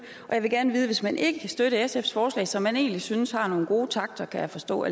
og jeg vil gerne vide hvis man ikke kan støtte sfs forslag som man egentlig alligevel synes har nogle gode takter kan jeg forstå